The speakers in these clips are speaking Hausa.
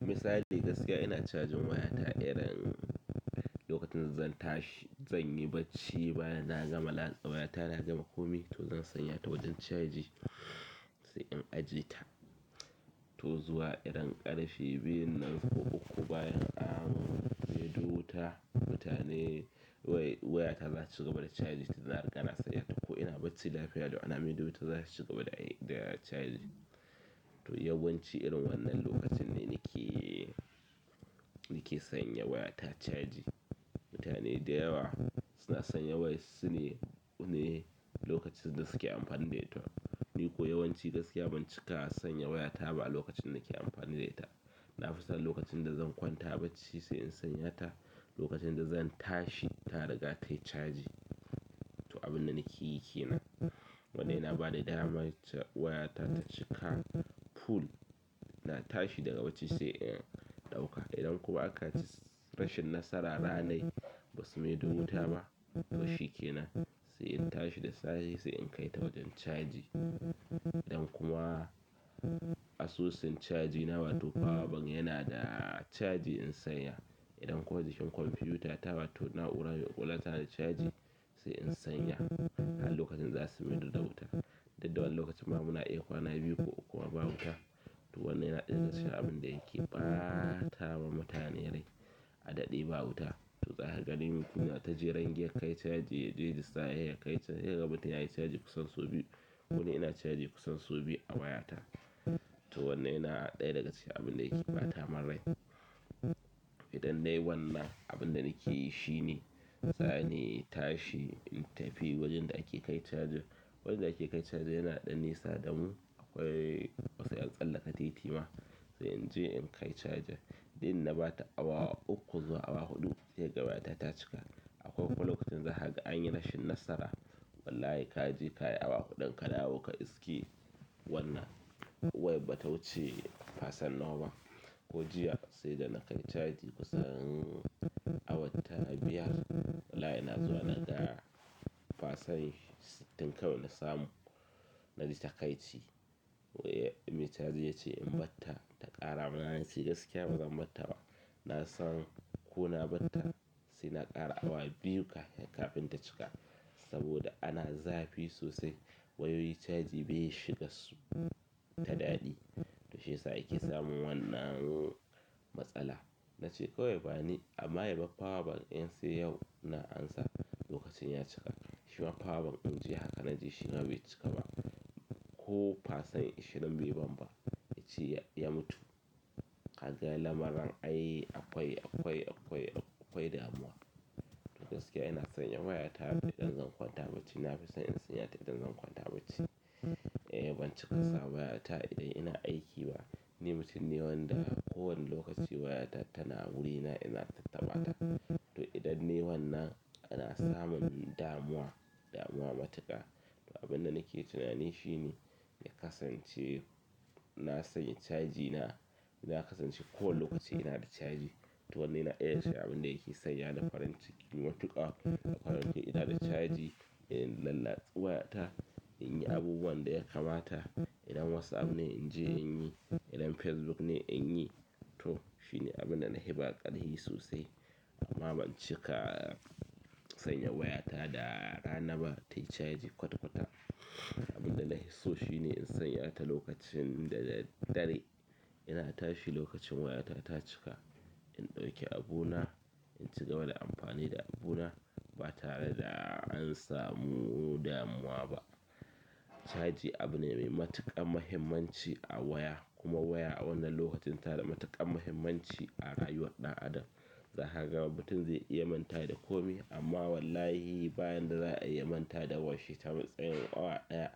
Misali gaskiya ina cajin wayata idan lokacin zan tashi zan yi bacci baya na gama latsa wayata na gama komai to zan sanya ta wajen caji sai in ajiye ta. To zuwa irin ƙarfe biyun nan ko uku bayan an maido wuta, mutane waya, wayata zata cigaba da chaji, tunda riga na sanyata ko ina bacci lafiya lau ana maido wuta zata cigaba da ai zata cigaba da chaji. To yawanci irin wannan lokacin ne nake nake sanya wayata chaji. Mutane dayawa suna sanya wayarsu ne, su ne lokacin da suke amfani da ita. Ni kuwa yawanci gaskiya ban cika sanya wayata ba a lokacin da nake amfani da ita. Nafi son lokacin da zan kwanta bacci sai in sanya ta lokacin da zan tashi ta riga tayi chaji. To abinda nakeyi kenan. Wannan yana bani dama ca, wayata ta cika full. Ina tashi daga bacci sai in ɗauka idan kuma akayi rashin nasara ranar basu maido wuta ba, to shikenan sai in tashi da safe sai in kaita wajen chaji. Idan kuma asusun chaji na, wato power bank yana da chaji in sanya idan kuma jikin kwamfuta ta wato na'ura mai ƙwaƙwalwa tana da chaji sai in sanya, har lokacin da zasu maido da wuta. Duk da wani lokacin ma muna iya kwana biyu ko uku kuma ba wuta. To wannan yana ɗaya daga cikin abinda yake ɓata ma mutane rai, a daɗe ba wuta to, zaka ganin, kuna ta jeran kai chaji yaje da safe yakai ca. Sai kaga mutum yayi chaji kusan sau biyu. Koni ina chaji kusan sau biyu a wayata. To wannan yana ɗaya daga cikin abinda yake ɓata mun rai. Idan nayi wannan abinda nakeyi shine zani in tashi in tafi wajen da ake kai chajin. Wajen da ake kai chajin yana da ɗan nisa damu, akwai wa sai an tsallaka titi ma, sai inje in kai chajin, duk inda na ɓata awa uku zuwa awa huɗu sai kaga wayata ta cika. Akwai kuma lokacin da zaka ga anyi rashin nasara, wallahi kaje kayi awa huɗun ka dawo ka iske wannan wayar bata wuce percent nawa ba. Ko jiya saida nakai chaji kusan awa ta biyar wallahi ina zuwa naga percent sittin kawai nasamu. Naji takaici. Wai mai chajin yace in barta ta ƙara ma nace gaskiya bazan barta ba nasan ko na barta saina ƙara awa biyu kafin kafin ta cika. Saboda ana zafi sosai wayoyi chaji bai shigar su ta daɗi. To shiyasa ake samun wannan matsala. Nace kawai bani, amma yabar power bank in sai yau na amsa lokacin ya cika. Shima power bank in jiya haka naje shima bai cika ba ko percent ashirin bai ban ba. Yace ya mutu. Kaga lamarin ai akwai, akwai, akwai, akwai damuwa. Gaskiya ina sanya wayata idan zan kwanta bacci, nafi son in sanyata idan zan kwanta bacci. Eh ban cika sa wayata idan ina aiki ba, ni mutum ne wanda kowane lokaci wayata tana wurina ina tattaɓa ta. To, idan nayi wannan ana samun damuwa, damuwa matuƙa. Abinda nake tunani shine ya kasance na sanya chaji na. Ya kasance kowane lokaci inada chaji. To, wannan yana ɗaya daga cikin abinda yake sanyani farin ciki matuƙa. In ina da caji ina lallatsi wayata, in yi abubuwan da ya kamata. Idan WhatsApp ne in je in yi, idan Facebook ne in yi. To shine abinda na hiba ƙarfi sosai. Amma ban cika sanya wayata da rana ba tayi caji kwata kwata. Abinda na hisso shi ne in sanya ta lokacin da daddare ina tashi lokacin wayata ta cika. In ɗauki abuna, in shiga wani amfani da abuna ba tare da an samu damuwa ba. Caji abu ne mai matuƙar muhimmanci a waya kuma waya a wannan lokacin ta da matuƙar muhimmanci a rayuwar ɗan. Adam. Za kaga mutun zai iya manta da komai amma wallahi bayan da za'ai ya manta da wayarshi tsayin awa ɗaya.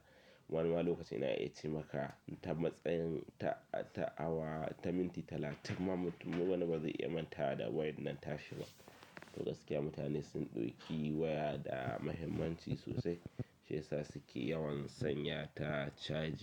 Wani ma lokacin yan iya ce maka ta matsayin ta awa ta minti talatin ma mutum wani ba zai iya manta da wayar nan ta shi ba. To gaskiya mutane sun ɗauki waya da mahimmanci sosai. Shiyasa suke yawan sanya ta caji.